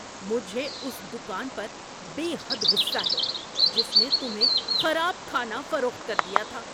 مجھے اس دکان پر بے حد غصہ ہے جس نے تمہیں خراب کھانا فروخت کر دیا تھا۔